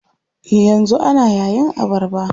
Yanzu ana yayin abarba.